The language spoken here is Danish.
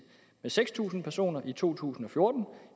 med seks tusind personer i to tusind og fjorten